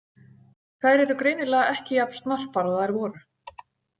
Þær eru greinilega ekki jafn snarpar og þær voru.